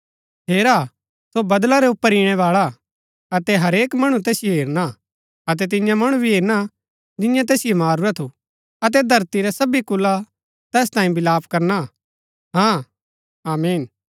हेरा सो बदळा रै ऊपर ईणैबाळा हा अतै हरेक मणु तैसिओ हेरना अतै तिन्या मणु भी हेरना जिन्यै तैसिओ मारूरा थू अतै धरती रै सभी कुला तैस तांये विलाप करना हाँ आमीन